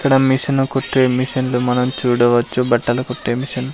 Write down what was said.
ఇక్కడ మిషను కుట్టే మిషన్లు మనం చూడవచ్చు బట్టలు కుట్టే మిషన్ .